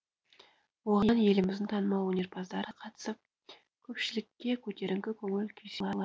оған еліміздің танымал өнерпаздары қатысып көпшілікке көтеріңкі көңіл күй сыйлады